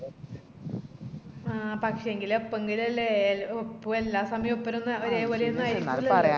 ആഹ് പക്ഷേങ്കില് എപ്പെങ്കിലും അല്ലെ എപ്പോ എല്ലാസമായോ ഒപ്പരൊന്നു ഒരെപോലെയൊന്നും ആരികൂലാലോ